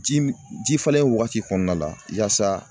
Ji m ji falen wagati kɔɔna la yaasa